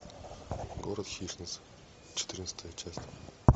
город хищниц четырнадцатая часть